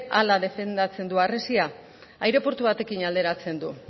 hala defendatzen du harresia aireportu batekin alderatzen du